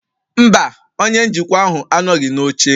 Mba, Onye njikwa ahụ anọghị n'oche